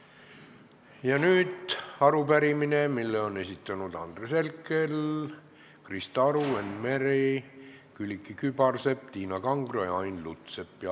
Ja nüüd arupärimine, mille on esitanud Andres Herkel, Krista Aru, Enn Meri, Külliki Kübarsepp, Tiina Kangro ja Ain Lutsepp.